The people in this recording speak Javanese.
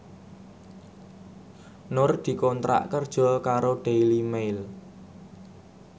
Nur dikontrak kerja karo Daily Mail